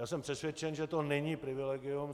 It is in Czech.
Já jsem přesvědčen, že to není privilegium.